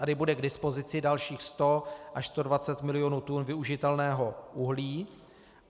Tady bude k dispozici dalších 100 až 120 milionů tun využitelného uhlí.